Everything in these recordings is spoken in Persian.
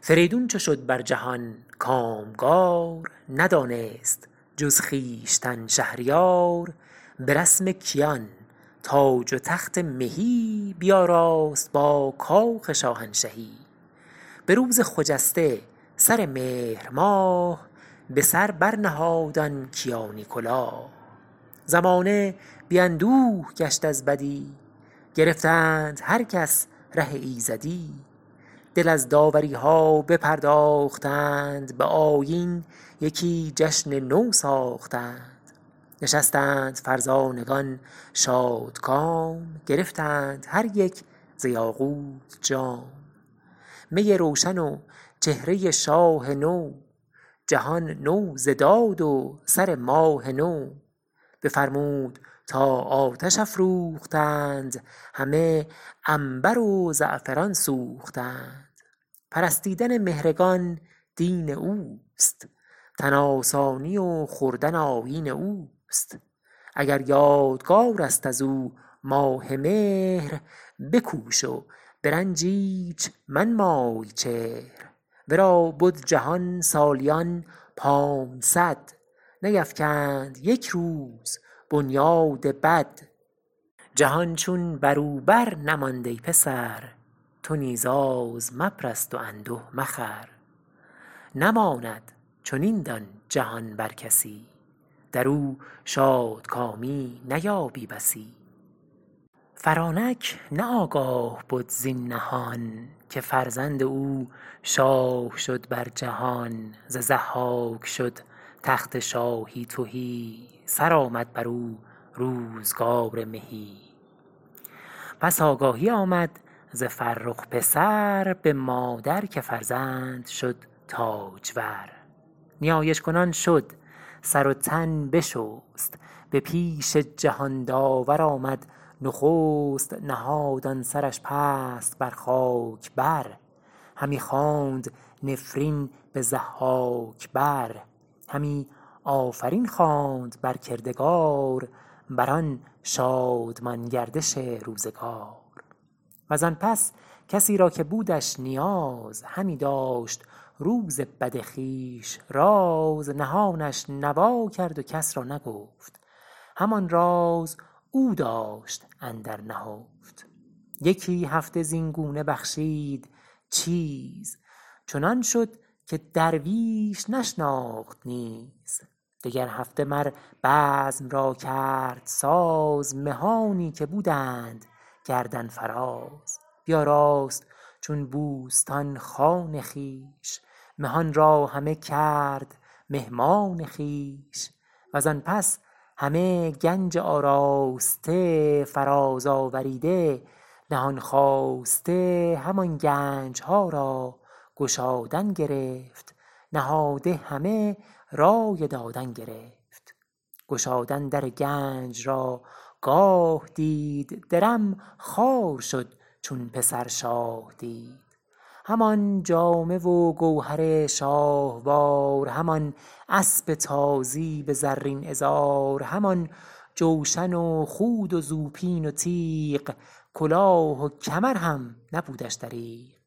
فریدون چو شد بر جهان کامگار ندانست جز خویشتن شهریار به رسم کیان تاج و تخت مهی بیاراست با کاخ شاهنشهی به روز خجسته سر مهر ماه به سر بر نهاد آن کیانی کلاه زمانه بی اندوه گشت از بدی گرفتند هر کس ره ایزدی دل از داوری ها بپرداختند به آیین یکی جشن نو ساختند نشستند فرزانگان شادکام گرفتند هر یک ز یاقوت جام می روشن و چهره شاه نو جهان نو ز داد و سر ماه نو بفرمود تا آتش افروختند همه عنبر و زعفران سوختند پرستیدن مهرگان دین اوست تن آسانی و خوردن آیین اوست اگر یادگار است از او ماه مهر بکوش و به رنج ایچ منمای چهر ورا بد جهان سالیان پانصد نیفکند یک روز بنیاد بد جهان چون برو بر نماند ای پسر تو نیز آز مپرست و انده مخور نماند چنین دان جهان بر کسی درو شادکامی نیابی بسی فرانک نه آگاه بد زین نهان که فرزند او شاه شد بر جهان ز ضحاک شد تخت شاهی تهی سرآمد برو روزگار مهی پس آگاهی آمد ز فرخ پسر به مادر که فرزند شد تاجور نیایش کنان شد سر و تن بشست به پیش جهان داور آمد نخست نهاد آن سرش پست بر خاک بر همی خواند نفرین به ضحاک بر همی آفرین خواند بر کردگار بر آن شادمان گردش روزگار وزان پس کسی را که بودش نیاز همی داشت روز بد خویش راز نهانش نوا کرد و کس را نگفت همان راز او داشت اندر نهفت یکی هفته زین گونه بخشید چیز چنان شد که درویش نشناخت نیز دگر هفته مر بزم را کرد ساز مهانی که بودند گردن فراز بیاراست چون بوستان خان خویش مهان را همه کرد مهمان خویش وزان پس همه گنج آراسته فراز آوریده نهان خواسته همان گنج ها را گشادن گرفت نهاده همه رای دادن گرفت گشادن در گنج را گاه دید درم خوار شد چون پسر شاه دید همان جامه و گوهر شاهوار همان اسپ تازی به زرین عذار همان جوشن و خود و زوپین و تیغ کلاه و کمر هم نبودش دریغ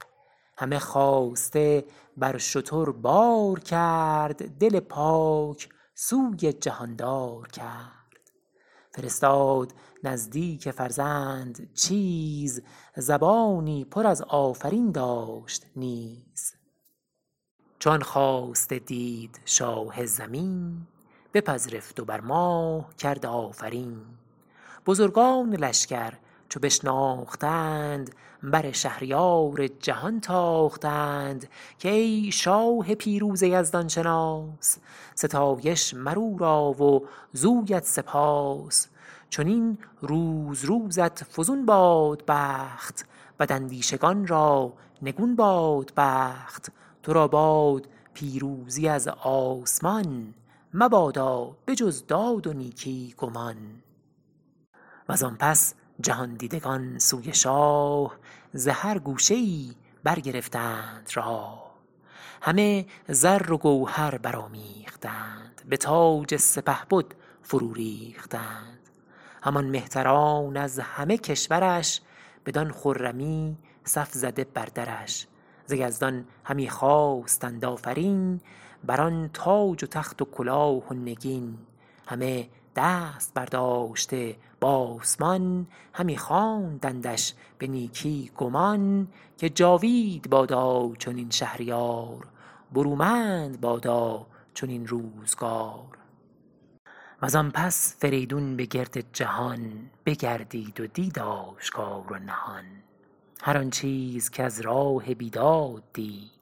همه خواسته بر شتر بار کرد دل پاک سوی جهاندار کرد فرستاد نزدیک فرزند چیز زبانی پر از آفرین داشت نیز چو آن خواسته دید شاه زمین بپذرفت و بر مام کرد آفرین بزرگان لشگر چو بشناختند بر شهریار جهان تاختند که ای شاه پیروز یزدان شناس ستایش مر او را و زویت سپاس چنین روز روزت فزون باد بخت بد اندیشگان را نگون باد بخت تو را باد پیروزی از آسمان مبادا به جز داد و نیکی گمان و زآن پس جهان دیدگان سوی شاه ز هر گوشه ای برگرفتند راه همه زر و گوهر برآمیختند به تاج سپهبد فرو ریختند همان مهتران از همه کشور ش بدان خرمی صف زده بر درش ز یزدان همی خواستند آفرین بر آن تاج و تخت و کلاه و نگین همه دست برداشته بآسمان همی خواندندش به نیکی گمان که جاوید بادا چنین شهریار برومند بادا چنین روزگار و زآن پس فریدون به گرد جهان بگردید و دید آشکار و نهان هر آن چیز کز راه بیداد دید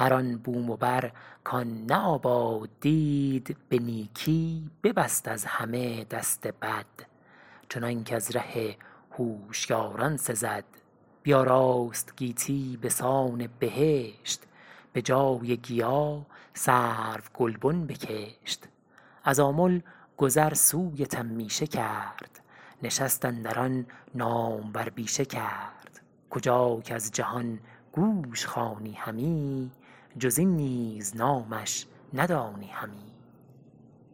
هر آن بوم و بر کآن نه آباد دید به نیکی ببست از همه دست بد چنانک از ره هوشیاران سزد بیاراست گیتی بسان بهشت به جای گیا سرو گلبن بکشت از آمل گذر سوی تمیشه کرد نشست اندر آن نامور بیشه کرد کجا کز جهان گوش خوانی همی جز این نیز نامش ندانی همی